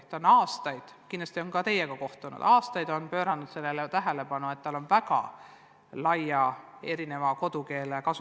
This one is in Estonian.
Kool on aastaid – kindlasti on nad ka teiega kohtunud – pööranud tähelepanu sellele, et nende õpilased on väga erineva kodukeelega.